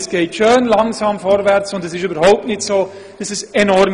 Vielmehr geht es schön langsam vorwärts, und die Zunahme ist auch überhaupt nicht enorm.